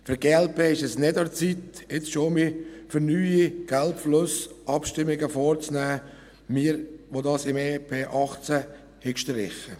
Für die glp ist es nicht an der Zeit, jetzt schon für neue Geldflüsse Abstimmungen vorzunehmen – wir, die wir dies im EP 2018 gestrichen hatten.